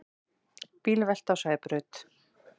Bílvelta á Sæbraut